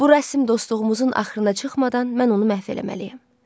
Bu rəsm dostluğumuzun axırına çıxmadan mən onu məhv eləməliyəm.